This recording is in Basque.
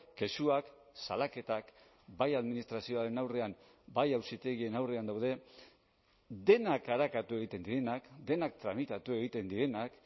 kexuak salaketak bai administrazioaren aurrean bai auzitegien aurrean daude denak arakatu egiten direnak denak tramitatu egiten direnak